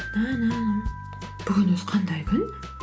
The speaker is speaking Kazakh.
бүгін өзі қандай күн